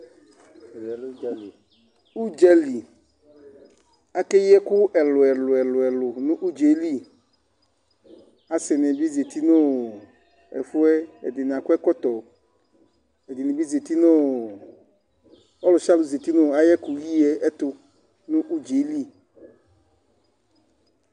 Ɛmɛ lɛ ʋdza li. Ʋdza li, akeyi ɛkʋ ɛlʋ-ɛlʋ nʋ ʋdza yɛ li. Asɩnɩ bɩ zati nʋ ɛfʋ yɛ, ɛdɩnɩ akɔ ɛkɔtɔ, ɛdɩnɩ bɩ zati nʋ ɔ ɔlʋsɩalʋ zati nʋ ayʋ ɛkʋyi yɛ ɛtʋ nʋ ʋdza yɛ li.